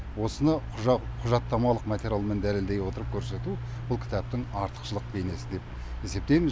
осыны құжаттамалық материалмен дәлелдей отырып көрсету бұл кітаптың артықшылық бейнесі деп есептейміз